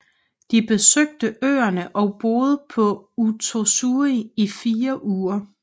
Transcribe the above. De besøgte øerne og boede på Uotsuri i fire uger